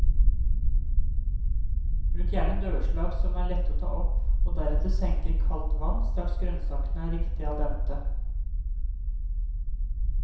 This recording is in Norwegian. Bruk gjerne dørslag som er lett å ta opp og deretter senke i kaldt vann straks grønnsakene er riktig al dente.